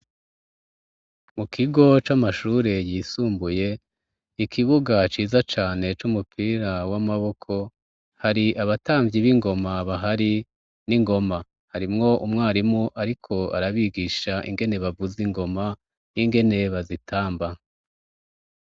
Mu kigo c'amashure yisumbuye, ikibuga ciza cane c'umupira w'amaboko hari abatamvyi b'ingoma bahari n'ingoma, harimwo umwarimu ariko arabigisha ingene bavuza ingoma n'ingene bazitamba.